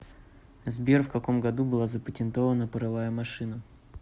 сбер в каком году была запатентована паровая машина